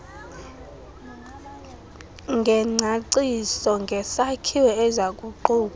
ngengcaciso ngesakhiwo ezakuquka